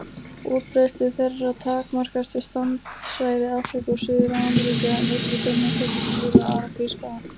Útbreiðslu þeirra takmarkast við strandsvæði Afríku og Suður-Ameríku en einnig finnast þessi dýr á Arabíuskaga.